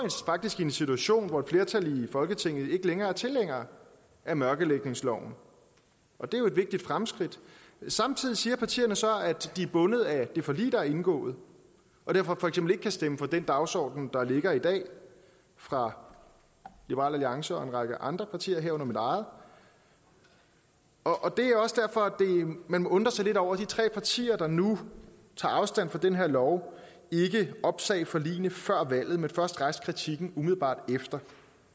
faktisk i en situation hvor et flertal i folketinget ikke længere er tilhængere af mørkelægningsloven og det er jo et vigtigt fremskridt samtidig siger partierne så at de er bundet af det forlig der er indgået og derfor for eksempel ikke kan stemme for den dagsorden der ligger i dag fra liberal alliance og en række andre partier herunder mit eget og det er også derfor man må undre sig lidt over at de tre partier der nu tager afstand fra den her lov ikke opsagde forligene før valget men først rejste kritikken umiddelbart efter